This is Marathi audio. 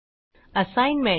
असाईनमेंट